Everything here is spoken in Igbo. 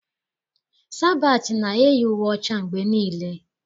Sabatị na-eyi uwe ọcha mgbe niile.